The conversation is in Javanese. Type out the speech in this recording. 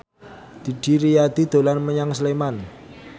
Didi Riyadi dolan menyang Sleman